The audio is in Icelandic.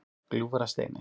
Gljúfrasteini